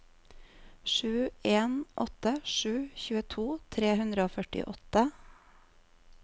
sju en åtte sju tjueto tre hundre og førtiåtte